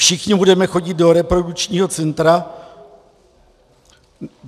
Všichni budeme chodit do reprodukčního centra!